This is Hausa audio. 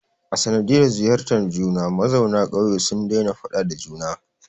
A sanadiyar ziyartar juna, mazauna ƙauye sun daina faɗa da juna